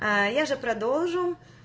аа я же продолжу